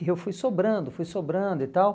E eu fui sobrando, fui sobrando e tal.